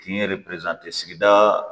Kin yɛrɛ sigida